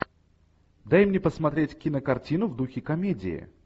дай мне посмотреть кинокартину в духе комедии